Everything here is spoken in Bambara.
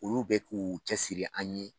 Olu bɛ k'u cɛ siri an ye.